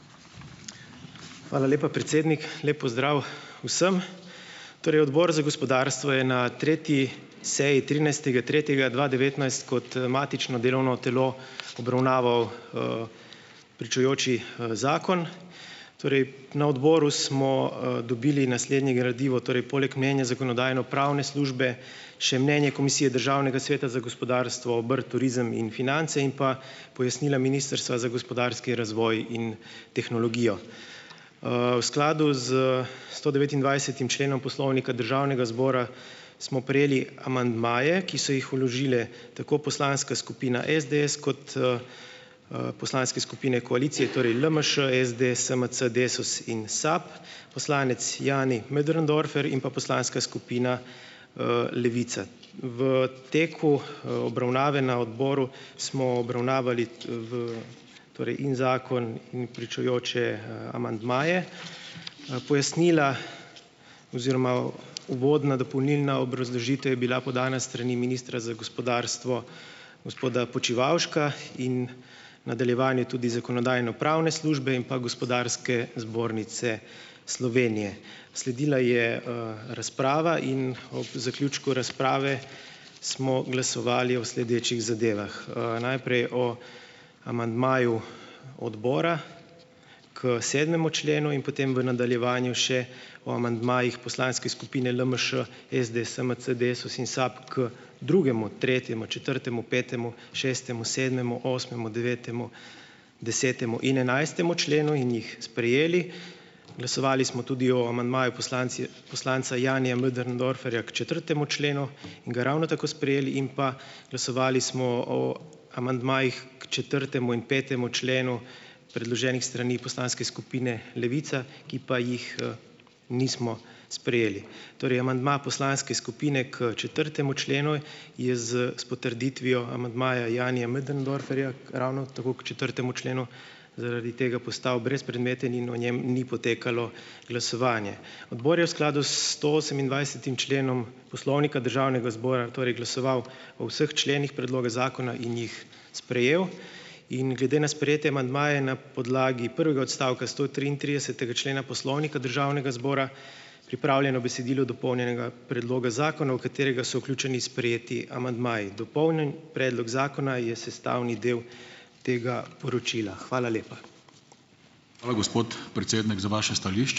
Hvala lepa, predsednik, lep pozdrav vsem, torej odbor za gospodarstvo je na tretji seji trinajstega tretjega dva devetnajst kot matično delovno telo obravnaval, pričujoči, zakon, torej na odboru smo, dobili naslednje gradivo torej poleg mnenja pravno-zakonodajne službe še mnenje komisije državnega sveta za gospodarstvo, obrt, turizem in finance in pa pojasnila ministrstva za gospodarski razvoj in tehnologijo, v skladu z stodevetindvajsetim členom Poslovnika Državnega zbora smo prejeli amandmaje, ki so jih vložile tako poslanska skupin SDS kot, poslanske skupine koalicije torej LMŠ SDS, SMC, Desus in SAB, poslanec Jani Möderndorfer in pa poslanska skupina, Levica. V teku, obravnave na odboru smo obravnavali, v torej in zakon in pričujoče, amandmaje, pojasnila oziroma uvodna dopolnilna obrazložitev je bila podana s strani ministra za gospodarstvo gospoda Počivalška in nadaljevanje tudi zakonodajno-pravne službe in pa Gospodarske zbornice Slovenije. Sledila je, razprava in ob zaključku razprave smo glasovali o sledečih zadevah. najprej o amandmaju odbora k sedmemu členu in potem v nadaljevanju še o amandmajih poslanske skupine LMŠ SDS, SMC, Desus in SAB k drugemu, tretjemu, četrtemu, petemu šestemu, sedmemu, osmemu, devetemu desetemu in enajstemu členu in jih sprejeli. Glasovali smo tudi o amandmaju poslanci poslanca Janija Möderndorferja k četrtemu členu ga ravno tako sprejeli in pa glasovali smo o amandmajih k četrtemu in petemu členu, predloženih strani poslanske skupine Levica, ki pa jih, nismo sprejeli. Torej amandma poslanske skupine k četrtemu členu je s s potrditvijo amandmaja Janija Möderndorferja ravno tako k četrtemu členu zaradi tega postal brezpredmeten in o njem ni potekalo glasovanje. Odbor je v skladu s stoosemindvajsetim členom Poslovnika Državnega zbora torej glasoval o vseh členih predloga zakona in jih sprejel in glede na sprejete amandmaje je na podlagi prvega odstavka stotriintridesetega člena Poslovnika Državnega zbora pripravljeno besedilo dopolnjenega predloga zakona, v katerega so vključeni sprejeti amandmaji, dopolnjen predlog zakona je sestavni del tega poročila, hvala lepa. Hvala, gospod predsednik za vaše stališče.